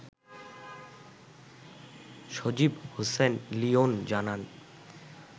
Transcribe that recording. সজিব হোসেন লিয়ন জানান